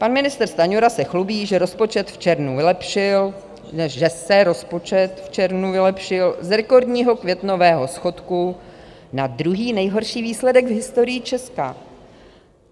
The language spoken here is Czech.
Pan ministr Stanjura se chlubí, že se rozpočet v červnu vylepšil, z rekordního květnového schodku na druhý nejhorší výsledek v historii Česka.